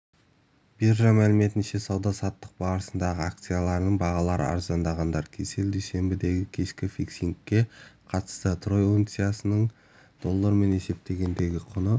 биржа мәліметінше сауда-саттық барысында акцияларының бағалары арзандағандар кселл дүйсенбідегікешкі фиксингке қатысты трой унциясының доллармен есептегендегі құны